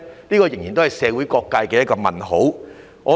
這仍然是社會各界的一個問號。